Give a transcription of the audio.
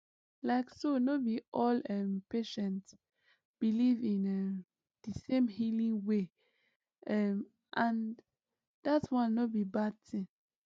like so no be all um patients believe in um the same healing way um and that one no be bad thing